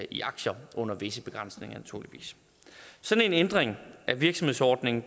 i aktier under visse begrænsninger naturligvis sådan en ændring af virksomhedsordningen